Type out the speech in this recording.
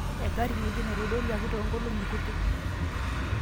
engari ngejuk naitodoluaki too nkolongi kutik